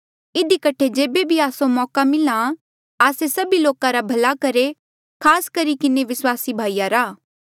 इधी कठे जेबे भी आस्सो मौका मिले आस्से सभी लोका रा भला करहे खास करी किन्हें विस्वासी भाईया रा